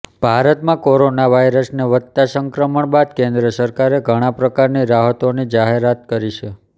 ભારતમાં કોરોના વાયરસને વધતા સંક્રમણ બાદ કેન્દ્ર સરકારે ઘણા પ્રકારની રાહતોની જાહેરાત કરી છે